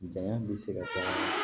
Janya bɛ se ka taa